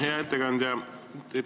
Hea ettekandja!